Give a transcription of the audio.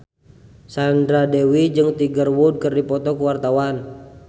Sandra Dewi jeung Tiger Wood keur dipoto ku wartawan